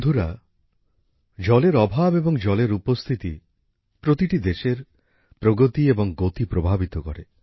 বন্ধুরা জলের অভাব এবং জলের উপস্থিতি প্রতিটি দেশের প্রগতি এবং গতি প্রভাবিত করে